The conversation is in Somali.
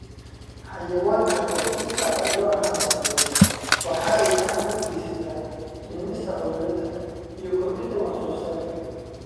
Xayawaanka oo si sax ah loo xanaaneeyo waxa ay gacan ka geysataa dhimista cudurada iyo kordhinta wax soo saarka.